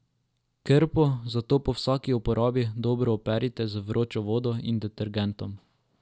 Krpo zato po vsaki uporabi dobro operite z vročo vodo in detergentom.